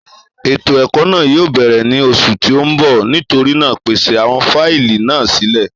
Ètò èkó náà yíò bèrè ní oṣù tí o nbọ, nítorínà pèsè àwọn fáìlì náà sílè